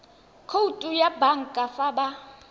khoutu ya banka fa ba